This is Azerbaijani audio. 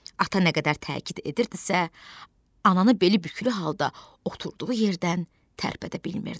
Ata nə qədər təkid edirdisə, ananı beli bükülü halda oturduğu yerdən tərpədə bilmirdi.